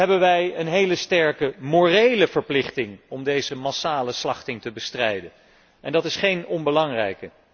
Allereerst hebben wij een hele sterke morele verplichting om deze massale slachting te bestrijden, en die is niet onbelangrijk.